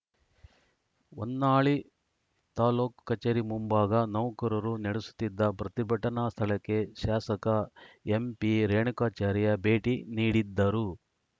ಹೊನ್ನಾಳಿ ತಾಲೂಕು ಕಚೇರಿ ಮುಂಭಾಗ ನೌಕರರು ನಡೆಸುತ್ತಿದ್ದ ಪ್ರತಿಭಟನಾ ಸ್ಥಳಕ್ಕೆ ಶಾಸಕ ಎಂಪಿರೇಣುಕಾಚಾರ್ಯ ಭೇಟಿ ನೀಡಿದ್ದರು